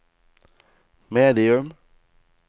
medium